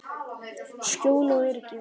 Skjól og öryggi.